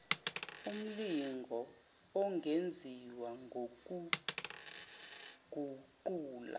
umlingo ongenziwa wokuguqula